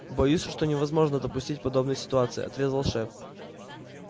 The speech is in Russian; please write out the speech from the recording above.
боюсь что невозможно допустить подобные ситуации отрезал шеф